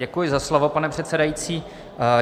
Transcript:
Děkuji za slovo, pane předsedající.